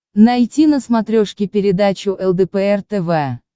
найти на смотрешке передачу лдпр тв